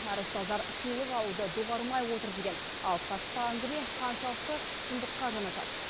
әрі ұстаздар сыйлық алуды доғармай отыр деген алып қашпа әңгіме қаншалықты шындыққа жанасады